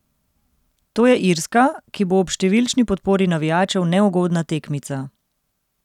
To je Irska, ki bo ob številčni podpori navijačev neugodna tekmica.